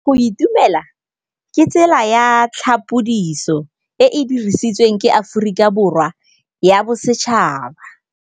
Go itumela ke tsela ya tlhapolisô e e dirisitsweng ke Aforika Borwa ya Bosetšhaba.